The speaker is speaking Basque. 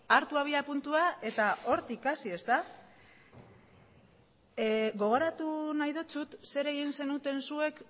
hartu abiapuntua eta hortik hasi ezta gogoratu nahi dizut zer egin zenuten zuek